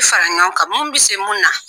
fara ɲɔgɔn kan mun bɛ se mun na